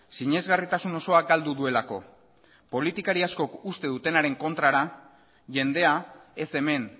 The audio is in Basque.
sinesgarritasun osoa galdu duelako politikari askok uste dutenaren kontrara jendea ez hemen